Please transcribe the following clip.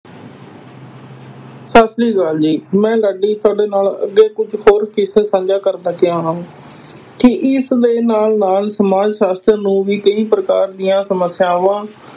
ਸਤਿ ਸ੍ਰੀ ਅਕਾਲ ਜੀ, ਮੈਂ ਲਾਡੀ ਤੁਹਾਡੇ ਨਾਲ ਅੱਗੇ ਕੁੱਝ ਸਾਂਝਾ ਕਰਨ ਲੱਗਿਆ ਹਾਂ ਕਿ ਇਸ ਦੇ ਨਾਲ ਨਾਲ ਸਮਾਜ ਸ਼ਾਸਤਰ ਨੂੰ ਵੀ ਕਈ ਪ੍ਰਕਾਰ ਦੀਆਂ ਸਮੱਸਿਆਵਾਂ